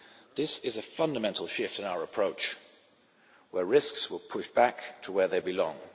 This is a fundamental shift in our approach, where risks will be pushed back to where they belong.